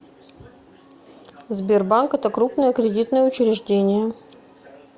сбер банк это крупное кредитное учреждение